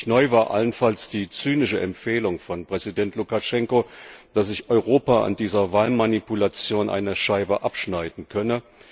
Wirklich neu war allenfalls die zynische Empfehlung von Präsident Lukaschenko, dass sich Europa an dieser Wahlmanipulation eine Scheibe abschneiden könne.